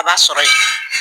A b'a sɔrɔ yen.